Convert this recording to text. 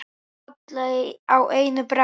Alla á einu bretti.